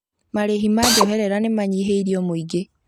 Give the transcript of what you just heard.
Marĩhi ma njoherera nĩmanyihĩirio mũingĩ